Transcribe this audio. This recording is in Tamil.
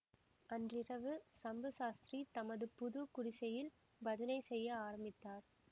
அன்றிரவு சம்பு சாஸ்திரி தமது புது குடிசையில் பஜனை செய்ய ஆரம்பித்தார்